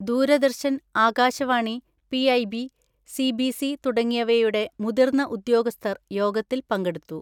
Doordarshan, Akashvani, PIB, CBC തുടങ്ങിയവയുടെ മുതിർന്ന ഉദ്യോഗസ്ഥർ യോഗത്തിൽ പങ്കെടുത്തു.